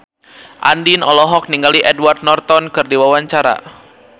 Andien olohok ningali Edward Norton keur diwawancara